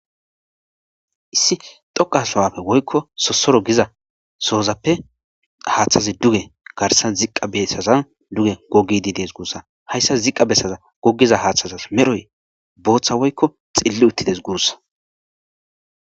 Issi xoqa sohappe woykko sosoro gizza sohozappe haththazi duge garsan ziqqa bessazan dugge gogidi dess gusakko hayssa ziqa besan gogiza hathazi medhoyi Botha woykko xilli uthidess gussa.